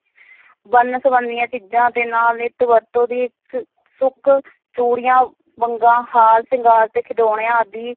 ਵੰਨ-ਸਵੰਨੀਆਂ ਚੀਜ਼ਾ ਦੇ ਨਾਲ ਨਿੱਤ ਵਰਤੋਂ ਦੀ ਇੱਕ ਸੁੱਕ ਚੂੜੀਆਂ, ਵੰਗਾਂ, ਹਾਰ ਸ਼ਿੰਗਾਰ ਤੇ ਖਿਡੋਣਿਆਂ ਆਦਿ